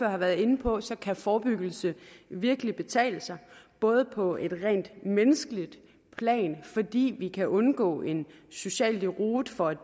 har været inde på kan forebyggelse virkelig betale sig både på et rent menneskeligt plan fordi vi kan undgå en social deroute for et